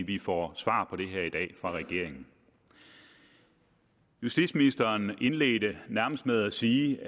vi får svar på dem her i dag fra regeringen justitsministeren indledte nærmest med at sige